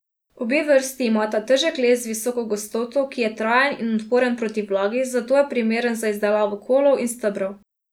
Obe vrsti imata težak les z visoko gostoto, ki je trajen in odporen proti vlagi, zato je primeren za izdelavo kolov in stebrov.